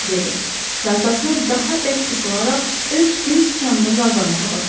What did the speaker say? dedi və atasına daha bərk qısılaraq öz göy sıçanına yalvarmağa başladı.